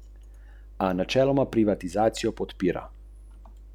Martin ga je pozorno poslušal.